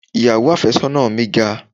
Ìyàwó àfẹ́sọ́nà mi ga.